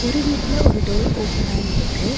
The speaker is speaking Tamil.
ஒரு வீட்ல ஒரு டோர் ஓப்பனாய் இருக்கு.